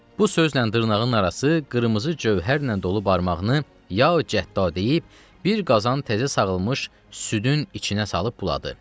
Bu sözlə dırnağının arası qırmızı cövhərlə dolu barmağını ya Cəddə deyib bir qazan təzə sağılmış südün içinə salıb buladı.